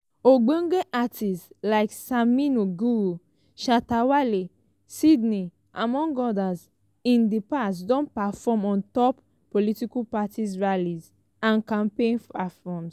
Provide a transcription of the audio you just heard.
ogbonge artistes like samini guru shatta wale sydney among odas in di past don perform on top political party rallies and campaign platforms.